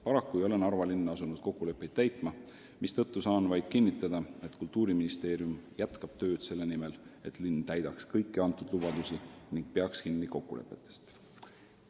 Paraku ei ole Narva linn asunud kokkuleppeid täitma, mistõttu saan vaid kinnitada, et Kultuuriministeerium jätkab tööd selle nimel, et linn täidaks kõiki antud lubadusi ning peaks kokkulepetest kinni.